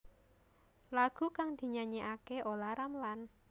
Lagu kang dinyanyekaké Olla Ramlan